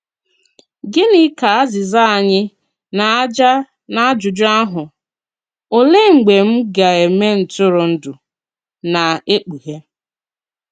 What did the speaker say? Gịnị ka azịza anyị nā-aja n’ajụjụ ahụ, ‘Olèe mgbe m gā-eme ntụrụndụ?’ nā-ekpughe?